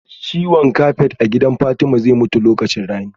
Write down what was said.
Ciwon kafet a gidan Fatma zai mutu lokacin rani